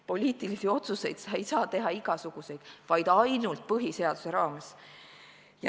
Poliitilisi otsuseid ei saa sa teha igasuguseid, vaid ainult põhiseaduse raames.